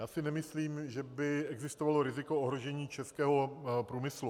Já si nemyslím, že by existovalo riziko ohrožení českého průmyslu.